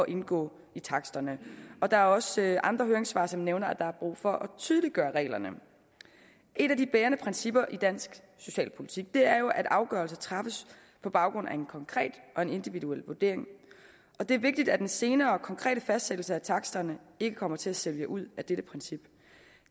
indgå i taksterne der er også andre høringssvar som nævner at der er brug for at tydeliggøre reglerne et af de bærende principper i dansk socialpolitik er jo at afgørelser træffes på baggrund af en konkret og individuel vurdering og det er vigtigt at den senere og konkrete fastsættelse af taksterne ikke kommer til at sælge ud af dette princip